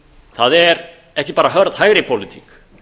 það er ekki bara hörð hægri pólitík